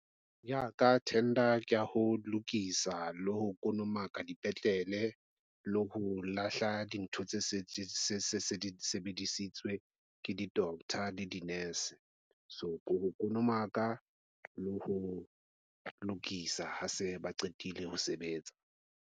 Ya ka tender, ko ho lokisa le ho konomaka dipetlele le ho lahla dintho tse se sebedisitswe ke di doctor le di nurse. So ko ho konomaka le ho lokisa ha se ba qetile ho sebetsa.